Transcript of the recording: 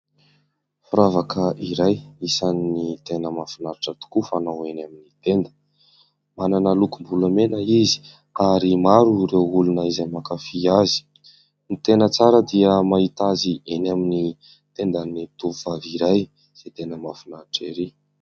Firavaka iray isan'ny tena mahafinaritra tokoa fanao eny amin'ny tenda. Manana lokom-bolamena izy ary maro ireo olona izay mankafy azy. Ny tena tsara dia mahita azy eny amin'ny tendan'ny tovovavy iray izay tena mahafinaritra erỳ.